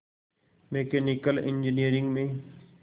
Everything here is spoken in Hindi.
मैकेनिकल इंजीनियरिंग में